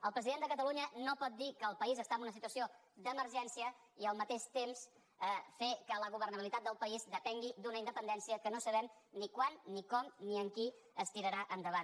el president de catalunya no pot dir que el país està en una situació d’emergència i al mateix temps fer que la governabilitat del país depengui d’una independència que no sabem ni quan ni com ni amb qui es tirarà endavant